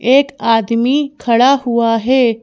एक आदमी खड़ा हुआ है।